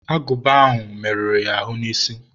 agụba merụrụ ya ahụ n'isi.